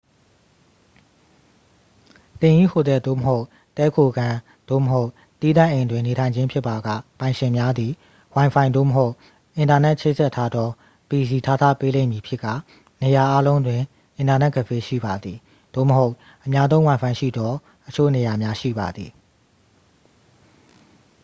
သင်၏ဟိုတယ် သို့မဟုတ် တည်းခိုခန်း သို့မဟုတ် သီးသန့်အိမ်တွင် နေထိုင်ခြင်းဖြစ်ပါက ပိုင်ရှင်များသည် ဝိုင်ဖိုင် သို့မဟုတ် အင်တာနက်ချိတ်ဆက်ထားသော pc ထားထားပေးလိမ့်မည်ဖြစ်ကာ နေရာအားလုံးတွင် အင်တာနက်ကဖေးရှိပါသည် သို့မဟုတ် အများသုံးဝိုင်ဖိုင်ရှိသောအချို့နေရာများ ရှိပါသည်။